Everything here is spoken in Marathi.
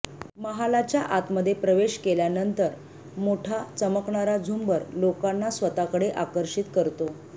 महालाच्या आतमध्ये प्रवेश केल्यानंतर मोठा चमकणारा झुंबर लोकांना स्वतःकडे आकर्षित करतो